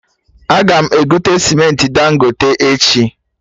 Aga m egote cementị Dangote echi